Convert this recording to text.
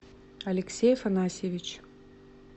алексей афанасьевич